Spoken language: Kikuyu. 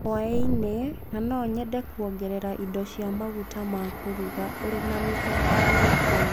hwainĩ na no nyende kuongerera indo cia maguta ma kũruga. ũrĩ na mĩthemba ĩrĩkũ?